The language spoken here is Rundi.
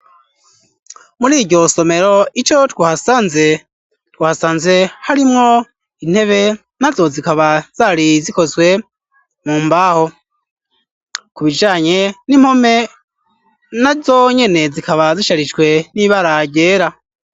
Muriryo somero ico twahasanze harimwo intebe nazo zikaba zari zikozwe mu mbaho ku bijanye n'impome nazonyene zikaba zisharijwe n'ibara ryera